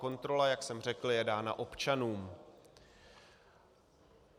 Kontrola, jak jsem řekl, je dána občanům.